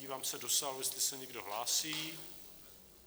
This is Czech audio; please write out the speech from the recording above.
Dívám se do sálu, jestli se někdo hlásí.